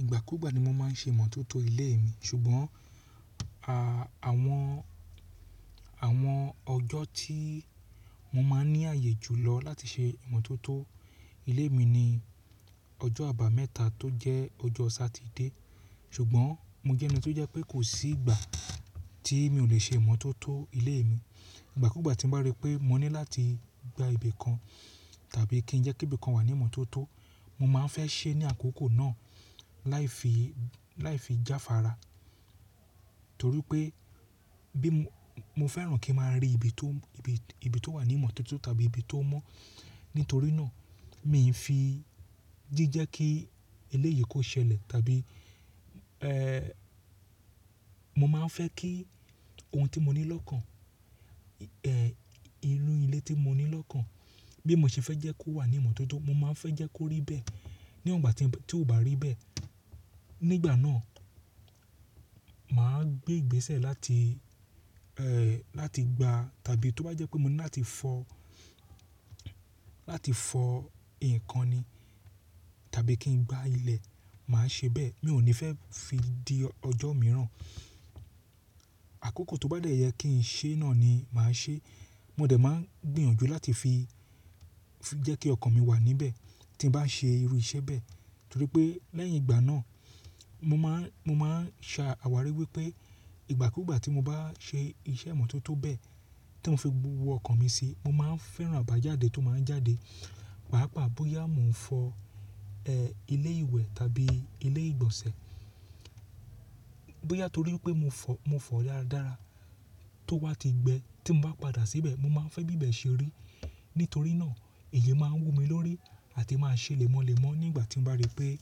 Ìgbà kúgbà ni mo máa ń ṣe ìmọ́tótó ilé mi ṣùgbọ́n àwọn, àwọn ọjọ́ tí mo máa ń ní ààyè jù lọ láti ṣe ìmọ́tótó ilé mi ni ọjọ́ àbámẹ́ta tó jẹ́ ọjọ́ Satide. Ṣùgbọ́n mo jẹ́ ẹni tó jẹ́ pé kò sí ìgbà tí mi ò lè ṣe ìmọ́tótó ilé mi. Ìgbà kúgbà tí mo bá rí pé mo ní láti gba ibi kan tàbí kí n jẹ́ kí ibi kan wà ní ìmọ́tótó, mo máa ń fẹ́ se é ní àkókò náà láì fi, láì fi jáfára torí pé bí mo fẹ́ràn kí n máa rí ibi tó, ibi tó wà ní ìmọ́tótó tàbí ibi tó mọ́. Nítorí náà mi ò fi jíjẹ́ kí eléyìí kó ṣẹlẹ̀ tàbí ẹ́, mo máa ń fẹ́ kí ohun tí mo ní lọ́kàn, ẹ́, irú ilé tí mo ní lọ́kàn bí mo ṣe fẹ́ jẹ́ kó wà ní ìmọ́tótó, mo máa ń fẹ́ jẹ́ kó rí bẹ́ẹ̀ níwon igbà tí ó bá rí bẹ́ẹ̀. Nígbà náà, mà á gbé ìgbésẹ̀ láti ẹ́, láti gba tàbí tó bá jẹ́ pé mo ní láti fọ, láti fọ ǹkan ni tàbí kí n gbá ilẹ̀, mà á ṣe bẹ́ẹ̀. Mi ò ní fẹ́ fi dí ọjọ́ mìíràn. Àkókò tó bá dẹ́yẹ kí n ṣe náà ni mà á ṣe. Mo dẹ̀ máa ń gbìyànjú láti fi jẹ́ kí ọkàn mi wà níbẹ̀ tí n bá ń ṣe irú iṣẹ́ bẹ́ẹ̀ torí pé lẹ́yìn ìgbà náà mo máa ń, mo máa ń ṣàwárí wípé ìgbà kúgbà tí mo bá ṣe iṣẹ́ ìmọ́tótó bẹ́ẹ̀ tí mo fi gbogbọkàn mi sí, mo máa ń fẹ́ràn àbájáde tó máa ń jáde. Pàápàá bóyá mo ń fọ ẹ́ ilé ìwẹ̀ tàbí ilé ìgbọ̀nsẹ̀, bóyá torí pé mo fọ, mo fọ̀ dáradára. Tó wá ti gbẹ tí mo bá padà síbẹ̀, mo máa ń fẹ́ bíbẹ̀ ṣe rí. Nítorí náà èyí máa ń wù mí lórí àti máa ṣè lémọ́lẹ̀mọ́ nígbà tí mo bá rí pé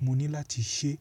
mo ní láti ṣe.